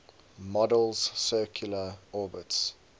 model's circular orbits